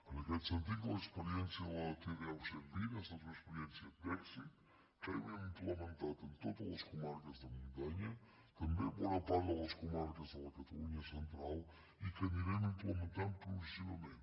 en aquest sentit l’experiència de la t deu cent i vint ha estat una experiència d’èxit que hem implementat en totes les comarques de muntanya també en bona part de les comarques de la catalunya central i que anirem implementant progressivament